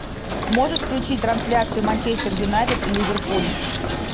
можешь включить трансляцию манчестер юнайтед и ливерпуль